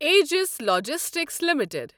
ages logistics limited